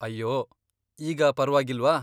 ಅಯ್ಯೋ, ಈಗ ಪರವಾಗಿಲ್ವಾ?